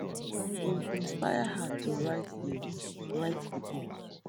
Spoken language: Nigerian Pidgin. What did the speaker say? im inspire her to write di write di book